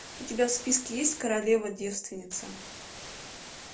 у тебя в списке есть королева девственница